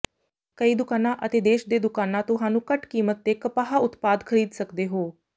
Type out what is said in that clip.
ਕਈ ਦੁਕਾਨਾ ਅਤੇ ਦੇਸ਼ ਦੇ ਦੁਕਾਨਾ ਤੁਹਾਨੂੰ ਘੱਟ ਕੀਮਤ ਤੇ ਕਪਾਹ ਉਤਪਾਦ ਖਰੀਦ ਸਕਦੇ ਹੋ